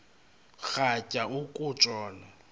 rhatya uku tshona